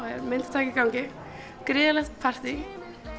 er myndataka í gangi gríðarlegt partí